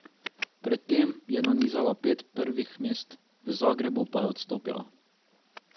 Pred tem je nanizala pet prvih mest, v Zagrebu pa je odstopila.